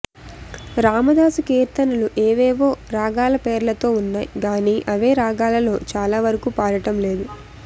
రామదాసు కీర్తనలు ఏవేవో రాగాల పేర్లతో వున్నాయి గానీ అవే రాగాలలో చాలావరకూ పాడటం లేదు